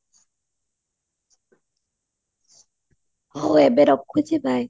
ହଉ ଏବେ ରଖୁଛି bye